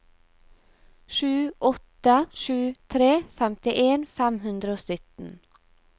sju åtte sju tre femtien fem hundre og sytten